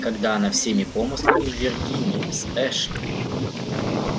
когда она всеми помыслами в виргинии с эшли